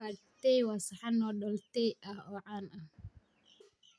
Pad Thai waa saxan noodle Thai ah oo caan ah.